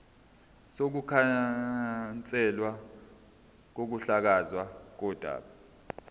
sokukhanselwa kokuhlakazwa kodaba